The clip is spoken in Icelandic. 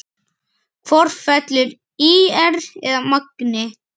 Hvort fellur ÍR eða Magni?